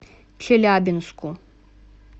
челябинску